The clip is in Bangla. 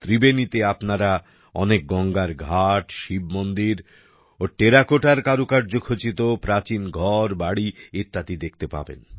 ত্রিবেণীতে আপনারা অনেক গঙ্গার ঘাট শিব মন্দির ও টেরাকোটার কারুকার্য খচিত প্রাচীন ঘরবাড়ি ইত্যাদি দেখতে পাবেন